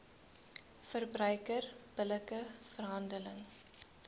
verbruiker billike verhandeling